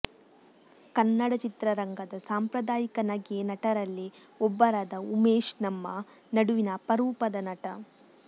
ಕನ್ನಡ ಚಿತ್ರ ರಂಗದ ಸಾಂಪ್ರದಾಯಿಕ ನಗೆ ನಟರಲ್ಲಿ ಒಬ್ಬರಾದ ಉಮೇಶ್ ನಮ್ಮ ನಡುವಿನ ಅಪರೂಪದ ನಟ